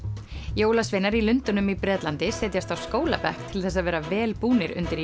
jólasveinar í Lundúnum í Bretlandi setjast á skólabekk til þess að vera vel búnir undir